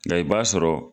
Nka i b'a sɔrɔ